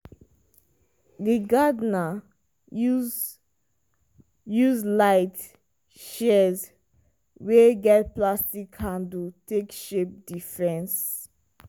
di gardener use use light shears wey get plastic handle take shape di fence.